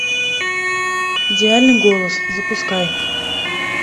идеальный голос запускай